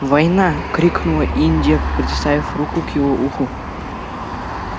война крикнула индия приставив руку к его уху